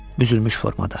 Büzülmüş formada.